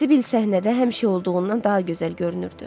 Sibil səhnədə həmişə olduğundan daha gözəl görünürdü.